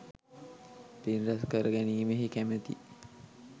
පින් රැස් කර ගැනීමෙහි කැමති